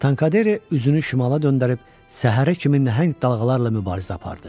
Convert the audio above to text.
Tankadere üzünü şimala döndərib səhərə kimi nəhəng dalğalarla mübarizə apardı.